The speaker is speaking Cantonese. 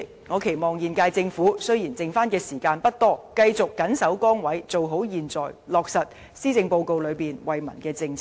主席，雖然現屆政府餘下的任期不長，我仍期望它繼續謹守崗位做好現在，落實施政報告的為民政策。